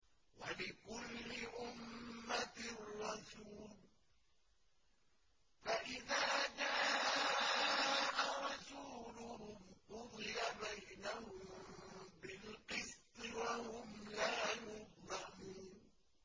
وَلِكُلِّ أُمَّةٍ رَّسُولٌ ۖ فَإِذَا جَاءَ رَسُولُهُمْ قُضِيَ بَيْنَهُم بِالْقِسْطِ وَهُمْ لَا يُظْلَمُونَ